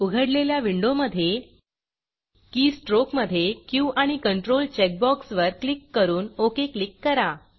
उघडलेल्या विंडोमधे के strokeकी स्ट्रोक मधे क्यू आणि Ctrl चेकबॉक्सवर क्लिक करून OKओके क्लिक करा